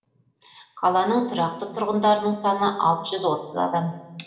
қаланың тұрақты тұрғындарының саны алты жүз отыз адам